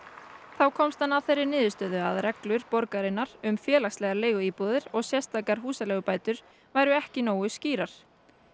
þá komst hann að þeirri niðurstöðu að reglur borgarinnar um félagslegar leiguíbúðir og sérstakar húsaleigubætur væru ekki nógu skýrar